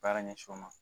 Baara ɲɛsin o ma